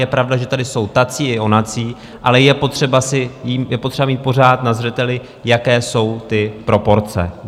Je pravda, že tady jsou tací i onací, ale je potřeba mít pořád na zřeteli, jaké jsou ty proporce.